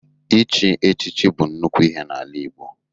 Ichi echichi bụ nnukwu ihe n'ala Igbo.